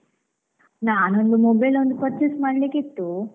ನಾನೊಂದು mobile ಒಂದು purchase ಮಾಡ್ಲಿಕಿತ್ತು.